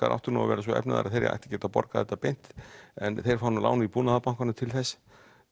áttu nú að vera svo efnaðir að þeir áttu að geta borgað þetta beint en þeir fá nú lán í Búnaðarbankanum til þess